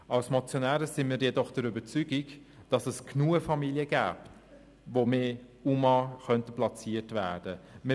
Als Motionäre sind wir jedoch der Überzeugung, dass es genügend Familien gäbe, bei denen mehr UMA platziert werden könnten.